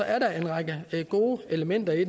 er der en række gode elementer i